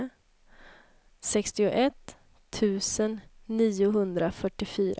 sextioett tusen niohundrafyrtiofyra